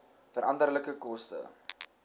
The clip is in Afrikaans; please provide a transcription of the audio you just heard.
veranderlike koste